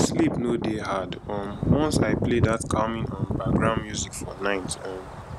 sleep no dey hard um once i play that calming um background music for night um